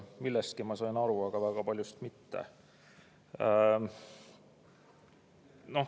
Millestki ma sain aru, aga väga paljust mitte.